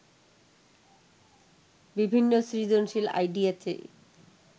বিভিন্ন সৃজনশীল আইডিয়া চেয়ে